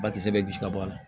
Ba kisɛ bɛ gosi ka bɔ a la